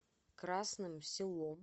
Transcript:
красным селом